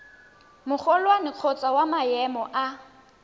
magolwane kgotsa wa maemo a